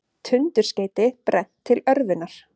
Tundurskeyti brennt til örvunar